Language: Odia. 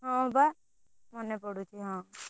ହଁ ବା ମନେ ପଡୁଛି ହଁ।